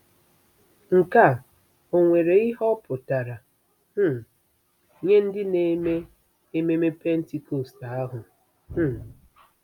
Nke a ò nwere ihe ọ pụtara um nye ndị na-eme ememe Pentikọst ahụ? um